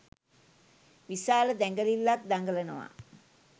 විශාල දැඟලිල්ලක් දඟලනවා